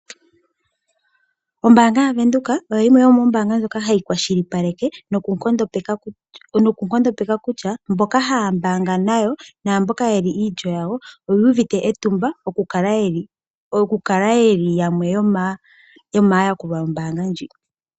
Ombaanga yaVenduka oyo yimwe yomoombanga ndhoka hadhi kwashilipaleke nokunkondopeka kutya mboka haya mbaanga nayo naamboka ye li iilyo yawo oyu uvite etumba okukala yamwe yomaayakulwa yombaanga ndjika.